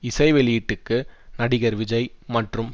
இசை வெளியீட்டுக்கு நடிகர் விஜய் மற்றும்